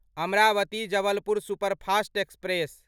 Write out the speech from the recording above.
Amravati Jabalpur superfast express